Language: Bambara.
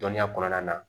Dɔnniya kɔnɔna na